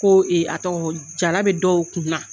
Ko a tɔgɔ jara bɛ dɔw kun na.